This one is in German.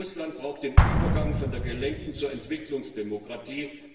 Russland braucht den Übergang von der gelenkten Demokratie zur Entwicklungsdemokratie.